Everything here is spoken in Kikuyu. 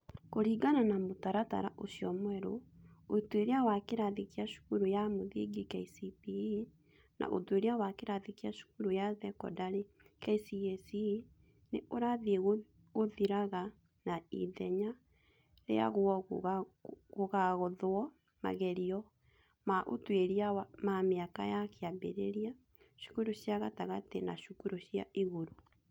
Kũringana na mũtaratara ũcio mwerũ, Ũtuĩria wa kĩrathi kĩa cukuru ya mũthingi (KCPE) na Ũtuĩria wa kĩrathi kĩa cukuru ya sekondarĩ (KCSE) nĩ ũrathiĩ ũgĩthiraga na ithenya rĩaguo gũgathwo magerio ma ũtuĩria ma mĩaka ya kĩambĩrĩria, cukuru cia gatagatĩ na cukuru cia igũrũ.